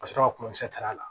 Ka sɔrɔ ka t'a la